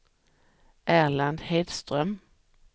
Erland Hedström